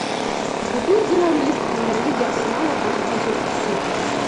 вруби игру английской премьер лиги арсенала против манчестер сити